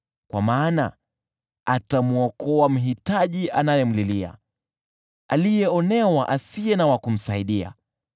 Kwa maana atamwokoa mhitaji anayemlilia, aliyeonewa asiye na wa kumsaidia.